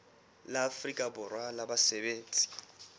la afrika borwa la basebetsi